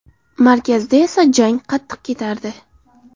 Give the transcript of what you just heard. Markazda esa jang qattiq ketardi.